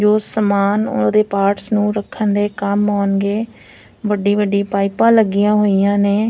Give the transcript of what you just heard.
ਜੋ ਸਮਾਨ ਉਹਦੇ ਪਾਰਟ ਨੂੰ ਰੱਖਣ ਦੇ ਕੰਮ ਆਉਣ ਗਏ ਵੱਡੀ ਵੱਡੀ ਪਾਈਪਾਂ ਲੱਗੀਆਂ ਹੋਈਆਂ ਨੇ --